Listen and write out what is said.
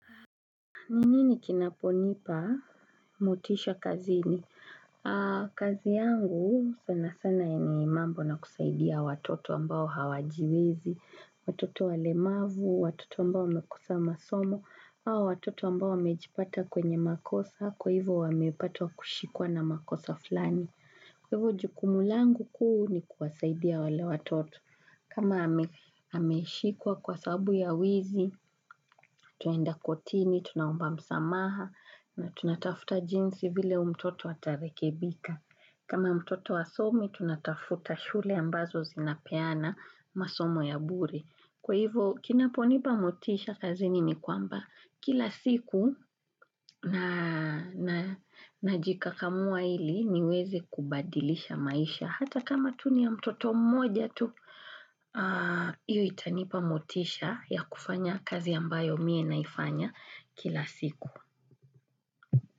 Ni nini kichonipa motisha kazini? Kazi yangu sana sana ni mambo na kusaidia watoto ambao hawajiwezi, watoto walemavu, watoto ambao wamekosa masomo, hawa watoto ambao wamejipata kwenye makosa, kwa hivyo wameipatwa kushikwa na makosa fulani. Kwa hivyo jukumu langu kuu ni kuwasaidia wale watoto. Kama ameshikwakwa kwa sababu ya wizi, Tunaenda kotini, tunaomba msamaha na tunatafuta jinsi vile huyu mtoto atarekebika. Kama mtoto hasomi, tunatafuta shule ambazo zinapeana masomo ya bure Kwa hivyo, kinaponipa motisha kazini ni kwamba kila siku na jikakamua ili niwezi kubadilisha maisha. Hata kama tu ni ya mtoto mmoja tu hiyo itanipa motisha ya kufanya kazi ambayo mie naifanya kila siku.